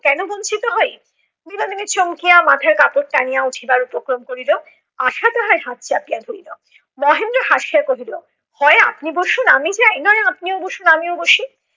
কেন বঞ্ছিত হই? বিনোদিনী চমকিয়া মাথার কাপড় টানিয়া উঠিবার উপক্রম করিল। আশা তাহার হাত চাপিয়া ধরিল। মহেন্দ্র হাসিয়া কহিল, হয় আপনি বসুন আমি যাই, নয় আপনিও বসুন আমিও বসি।